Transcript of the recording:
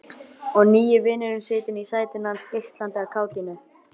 Og nýi vinurinn situr í sætinu hans, geislandi af kátínu.